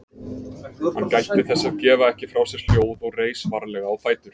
Hann gætti þess að gefa ekki frá sér hljóð og reis varlega á fætur.